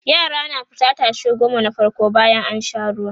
yara na fita tashe goma na farko bayan an Sha ruwa